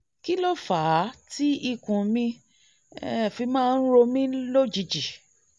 kí ló fà á tí ikùn mi um fi máa ń ro mí lójijì?